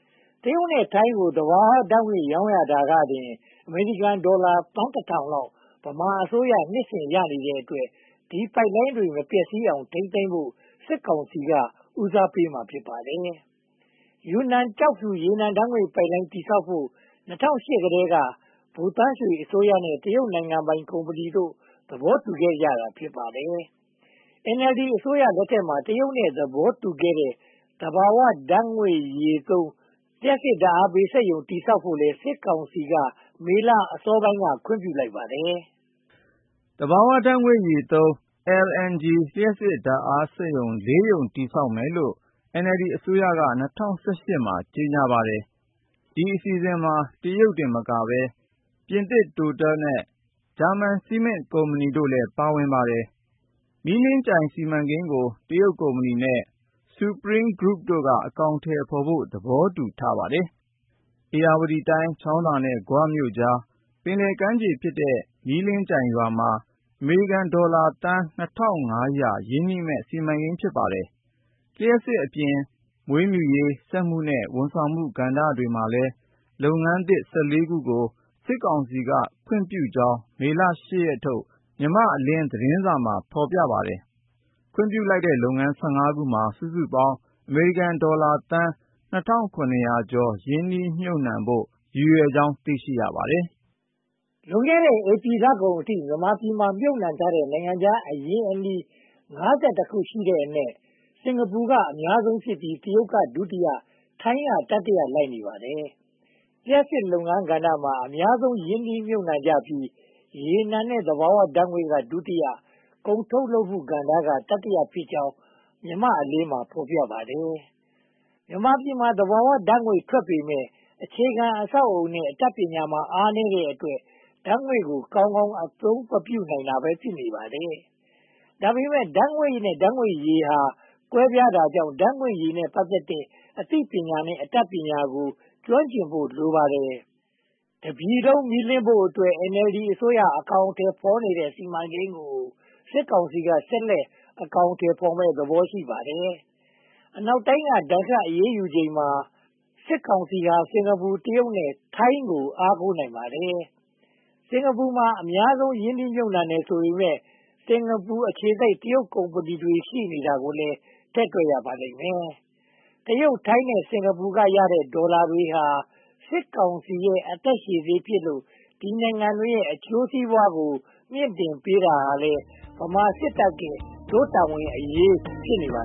။ တရုတ်နဲ့ထိုင်းကို သဘာဝဓါတ်ငွေ့ရောင်းတာကတင် အမေရိကန်ဒေါ်လာသန်းတထောင်လောက် ဗမာအစိုးရ နှစ်စဉ်ရရှိတဲ့အတွက် ဒီပိုက်လိုင်းတွေ မပျက်စီးအောင် ထိန်းသိမ်းဖို့ စစ်ကောင်စီက ဦးစားပေးမှာ ဖြစ်ပါတယ်။ ယူနန်ကျောက်ဖြူ ရေနံဓါတ်ငွေ့ပိုက်လိုင်း တည်ဆောက်ဖို့ ၂၀၀၈ ကတည်းက ဗိုလ်သန်းရွှေအစိုးရနဲ့ တရုတ်နိုင်ငံပိုင်ကုမ္ပဏီတို့ သဘောတူခဲ့တာ ဖြစ်ပါတယ်။ NLD အစိုးရလက်ထက်မှာ တရုတ်နဲ့ သဘောတူခဲ့တဲ့ သဘာဝဓါတ်ငွေ့ရည် (LNG) သုံး လျှပ်စစ်ဓါတ်အားပေး စက်ရုံ တည်ဆောက်ဖို့လည်း စစ်ကောင်စီက မေလအစောပိုင်းက ခွင့်ပြုလိုက်ပါတယ်။ သဘာဝဓါတ်ရည်သုံး LNG လျှပ်စစ်ဓါတ်အားပေးစက်ရုံ (၄) ရုံ တည်ဆောက်မယ်လို့ NLD အစိုးရက (၂၀၁၈) မှာ ကြေညာလိုက်ပါတယ်။ ဒီအစီအစဉ်မှာ တရုတ်တင်မကဘဲ ပြင်သစ်တိုတယ်နဲ့ ဂျာမန်စီမင်းကုမ္ပဏီတို့လည်း ပါဝင်ပါတယ်။ မီးလင်းရေးစီမံကိန်းကို တရုတ်ကုမ္ပဏီနဲ့ Supreme Group တို့က အကောင်အထည်ဖော်ဖို့ သဘောတူထားပါတယ်။ ဧရာဝတီတိုင်း ချောင်းသာနဲ့ ဂွမြို့ကြား ပင်လယ်ကမ်းခြေဖြစ်တဲ့ မီးလင်းကြိုင်ရွာမှာ အမေရိကန်ဒေါ်လာသန်း (၂၅၀၀) ရင်းနှီးမယ့် စီမံကိန်း ဖြစ်ပါတယ်။ လျှပ်စစ်အပြင်၊ မွေးမြူရေး၊ စက်မှုနဲ့ ဝန်ဆောင်မှုကဏ္ဍမှာလည်း လုပ်ငန်းသစ် (၁၄) ခုကို စစ်ကောင်စီက ခွင့်ပြုကြောင်း မေလ (၈) ရက်ထုတ် မြန်မာ့အလင်းသတင်းစာမှာ ဖော်ပြထားပါတယ်။ ခွင့်ပြုလိုက်တဲ့လုပ်ငန်း (၁၅) ခုမှာ စုစုပေါင်း အမေရိကန်ဒေါ်လာသန်းပေါင်း (၂၇၈၃) ရင်းနှီးမြုပ်နံှဖို့ ရည်ရွယ်ကြောင်း သိရှိရပါတယ်။ လွန်ခဲ့တဲ့ ဧပြီလကုန်အထိ မြန်မာပြည်မှာ မြုပ်နံှထားတဲ့ နိုင်ငံခြားအရင်းအနှီး (၅၁) ခုရှိတဲ့အနက် စင်္ကာပူက အများဆုံးဖြစ်ပြီး၊ တရုတ်က ဒုတိယ၊ ထိုင်းက တတိယ လိုက်နေပါတယ်။ လျှပ်စစ်ကဏ္ဍမှာ အများဆုံးရင်းနှီးမြုပ်နံှကြပြီး၊ ရေနံနဲ့သဘာဝဓါတ်ငွေ့က ဒုတိယ၊ ကုန်ထုတ်လုပ်မှုကဏ္ဍက တတိယဖြစ်ကြောင်း မြန်မာ့အလင်းမှာ ဖော်ပြထားပါတယ်။ မြန်မာပြည်မှာ သဘာဝဓါတ်ငွေ့ ထွက်ပေမယ့် အခြေခံအဆောက်အအုံနဲ့ အတတ်ပညာမှာ အားနည်းတဲ့အတွက် ဓါတ်ငွေ့ကိုကောင်းကောင်း အသုံးမပြုနိုင်ဘဲ ဖြစ်နေပါတယ်။ ဒါပေမဲ့ ဓါတ်ငွေ့နဲ့ ဓါတ်ငွေ့ရည်ဟာ ကွဲပြားတာကြောင့် ဓါတ်ငွေ့ရည်နဲ့ ပတ်သက်တဲ့ အသိပညာနဲ့ အတတ်ပညာကို ကျွမ်းကျင်ဖို့ လိုပါတယ်။ တပြည်လုံးမီးလင်းဖို့အတွက် NLD အစိုးရ အကောင်အထည်ဖော်တဲ့ စီမံကိန်းကို စစ်ကောင်စီက ဆက်လက်အကောင်အထည်ဖော်မယ့် သဘောရှိပါတယ်။ အနောက်တိုင်းက ဒဏ်ခတ်အရေးယူချိန်မှာ စစ်ကောင်စီဟာ စင်္ကာပူ၊ တရုတ်နဲ့ ထိုင်းကို အားကိုးနိုင်ပါတယ်။ စင်္ကာပူက အများဆုံးရင်းနှီးတယ်ဆိုပေမယ့် စင်္ကာပူအခြေစိုက် တရုတ်ကုမ္ပဏီတွေ ရှိနေတာကိုလည်း ထည့်တွက်ရပါလိမ့်မယ်။ တရုတ်၊ ထိုင်းနဲ့ စင်္ကာပူကရတဲ့ ဒေါ်လာတွေဟာ စစ်ကောင်စီရဲ့ အသက်ရှည်ဆေးဖြစ်လို့ ဒီနိုင်ငံတွေရဲ့ အကျိုးစီးပွားကို မြှင့်တင်ပေးရေးဟာလည်း ဗမာစစ်တပ်ရဲ့ ဒို့တာဝန်အရေး ဖြစ်နေပါ